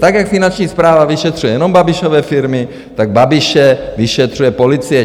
Tak jak Finanční správa vyšetřuje jenom Babišovy firmy, tak Babiše vyšetřuje policie.